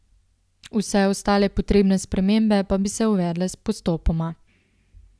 Vse ostale potrebne spremembe pa bi se uvedle postopoma.